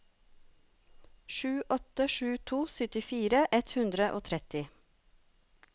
sju åtte sju to syttifire ett hundre og tretti